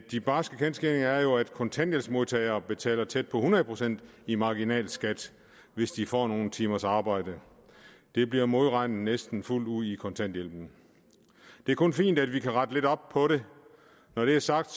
de barske kendsgerninger er jo at kontanthjælpsmodtagere betaler tæt på hundrede procent i marginalskat hvis de får nogle timers arbejde det bliver modregnet næsten fuldt ud i kontanthjælpen det er kun fint at vi kan rette lidt op på det når det er sagt